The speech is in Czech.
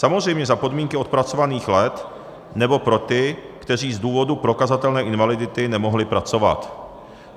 Samozřejmě za podmínky odpracovaných let nebo pro ty, kteří z důvodu prokazatelné invalidity nemohli pracovat.